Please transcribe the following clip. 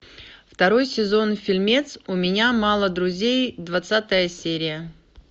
второй сезон фильмец у меня мало друзей двадцатая серия